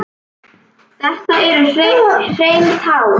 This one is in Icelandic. Þetta eru hrein tár.